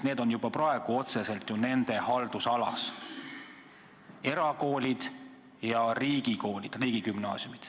Need on juba praegu otseselt ju nende haldusalas, erakoolid ja riigikoolid, riigigümnaasiumid.